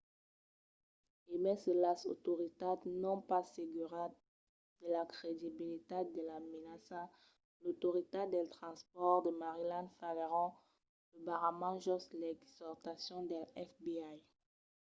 e mai se las autoritats son pas seguras de la credibilitat de la menaça l’autoritat dels transpòrts de maryland faguèron lo barrament jos l’exortacion del fbi